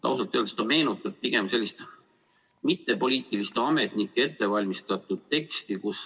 Ausalt öeldes see meenutab pigem mittepoliitiliste ametnike ettevalmistatud teksti.